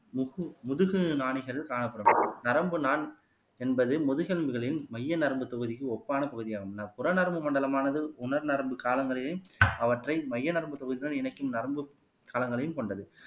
முதுகு முதுகு நாடிகள் காணப்படும் நரம்பு நான் என்பது முதுகெலும்புகளின் மைய நரம்பு தொகுதிக்கு ஒப்பான தொகுதியாகும் புறநரம்பு மண்டலமானது உணர் நரம்பு காலங்களில் அவற்றை மைய நரம்புத் தொகுப்புடன் இணைக்கும் நரம்பு கலங்கலையும் கொண்டது